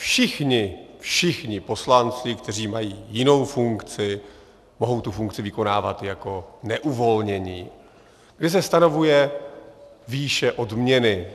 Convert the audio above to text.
Všichni, všichni poslanci, kteří mají jinou funkci, mohou tu funkci vykonávat jako neuvolnění, kdy se stanovuje výše odměny.